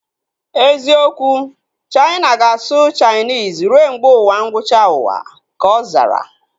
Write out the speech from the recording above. Eziokwu, Chaina ga-asụ Chainis rue mgbe ụwa ngwụcha uwa ka ọ zara